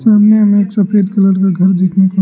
सामने हमे एक सफेद कलर का घर देखने को--